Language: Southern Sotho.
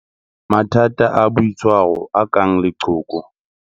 Mathata a boitshwaro a kang leqhoko.